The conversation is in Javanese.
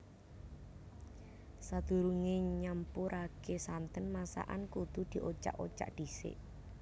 Sadurungé nyampuraké santen masakan kudu diocak ocak dhisik